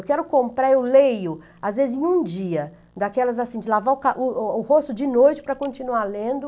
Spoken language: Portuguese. Eu quero comprar, eu leio, às vezes em um dia, daquelas assim, de lavar o ca o o rosto de noite para continuar lendo.